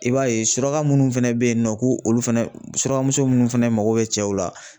I b'a ye suraka munnu fɛnɛ bɛ yen nɔ k'olu fɛnɛ surakamuso munnu fɛnɛ mako bɛ cɛw la.